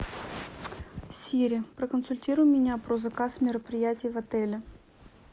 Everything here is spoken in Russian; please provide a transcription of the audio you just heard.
сири проконсультируй меня про заказ мероприятий в отеле